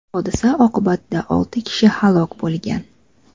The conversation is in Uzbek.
Hodisa oqibatida olti kishi halok bo‘lgan.